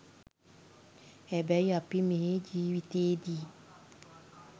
හැබැයි අපි මේ ජීවිතයේදී